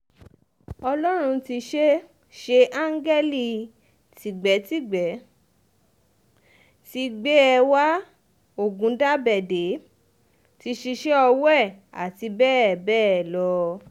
ọlọ́run ti ṣeé ṣeé áńgẹ́lì tìgbètìgbé ti gbé e wá ọ̀gùndàbẹ̀dẹ̀ ti ṣíṣe ọwọ́ ẹ̀ àti bẹ́ẹ̀ bẹ́ẹ̀ lọ